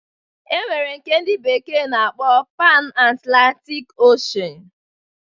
E nwere nke ndi bekee na-akpọ Pan Atlantik Oshen